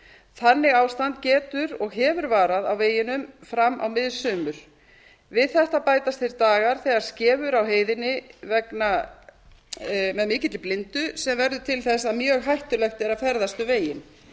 þannig ástand getur og hefur varað á veginum fram á mið sumur við þetta bætast þeir dagar þegar skefur á heiðinni með mikilli blindu sem verður til þess að mjög hættulegt er að ferðast um